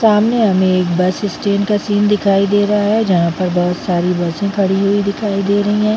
सामने हमे एक बस स्टैंड का सीन दिखाई दे रहा है जहाँ पर बहोत सारी बसे खड़ी हुई दिखाई दे रही है।